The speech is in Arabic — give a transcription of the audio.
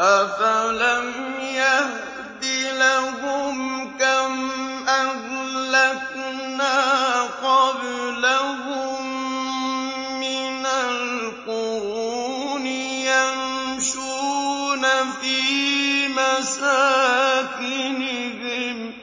أَفَلَمْ يَهْدِ لَهُمْ كَمْ أَهْلَكْنَا قَبْلَهُم مِّنَ الْقُرُونِ يَمْشُونَ فِي مَسَاكِنِهِمْ ۗ